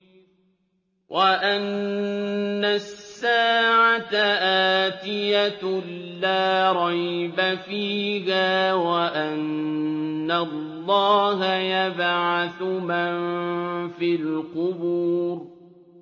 وَأَنَّ السَّاعَةَ آتِيَةٌ لَّا رَيْبَ فِيهَا وَأَنَّ اللَّهَ يَبْعَثُ مَن فِي الْقُبُورِ